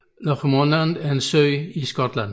Loch Lomond er en sø i Skotland